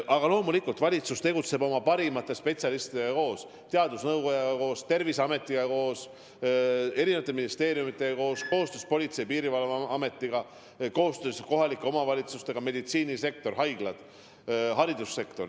Aga loomulikult valitsus tegutseb koostöös parimate spetsialistidega: teadusnõukojaga, Terviseametiga, eri ministeeriumidega, Politsei- ja Piirivalveametiga, kohalike omavalitsustega, pluss haiglad ja kogu meditsiinisektor ning haridussektor.